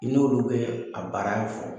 N'olu be a baara fɔ